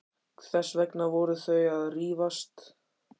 Þess vegna voru þau að rífast.